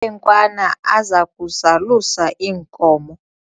khwenkwana aza kuzalusa iinkomo